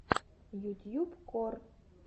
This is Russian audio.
ютьюб кор